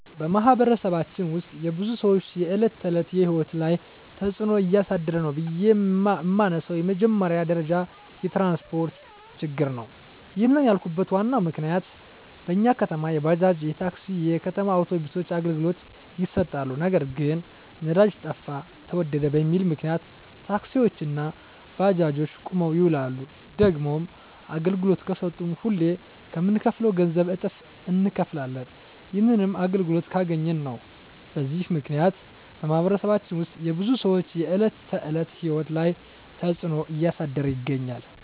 በማኅበረሰባችን ውስጥ የብዙ ሰዎች የዕለት ተዕለት ሕይወት ላይ ትጽእኖ እያሳደረ ነው ብዬ የመነሣው በመጀመሪያ ደረጃ የትራንስፓርት ችግር ነው። ይህንን ያልኩበት ዋናው ምክንያት በኛ ከተማ የባጃጅ፣ የታክሲ፣ የከተማ አውቶቢሶች አገልግሎት ይሠጣሉ። ነገር ግን ነዳጅ ጠፋ ተወደደ በሚል ምክንያት ታክሲዎች እና ባጃጆች ቁመው ይውላሉ። ደግሞም አገልግሎት ከሠጡም ሁሌ ከምንከፍለው ገንዘብ እጥፍ እነከፍላለን። ይህንንም አገልግሎቱን ካገኘን ነው። በዚህ ምክንያት በማኅበረሰባችን ውስጥ የብዙ ሰዎች የዕለት ተዕለት ሕይወት ላይ ትጽእኖ እያሳደረ ይገኛል።